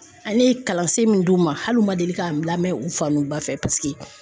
Ale ye kalansen min d'u ma hali u ma deli ka o lamɛn u fa n'u ba fɛ. Paseke